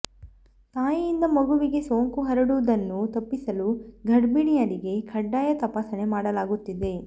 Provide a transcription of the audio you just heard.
ತಾಯಿಯಿಂದ ಮಗುವಿಗೆ ಸೋಂಕು ಹರಡುವುದನ್ನು ತಪ್ಪಿಸಲು ಗರ್ಭಿಣಿಯರಿಗೆ ಕಡ್ಡಾಯ ತಪಾಸಣೆ ಮಾಡಲಾಗುತ್ತಿದೆ